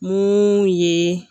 Mun ye